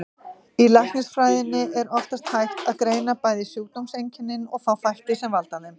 Í læknisfræðinni er oftast hægt að greina bæði sjúkdómseinkennin og þá þætti sem valda þeim.